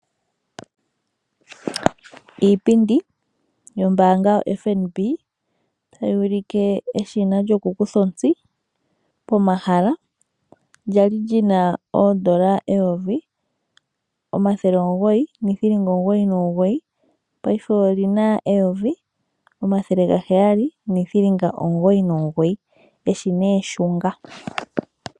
Iipindi yombaanga yoFNB tayi ulike eshina lyokukutha ontsi pomahala. Lyali li na N$ 1 999, paife oli na N$ 1 799. Eshina eshunga.